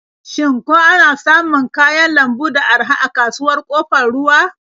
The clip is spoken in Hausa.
Shin ko ana samun kayan lambu da araha a kasuwar Ƙofar Ruwa?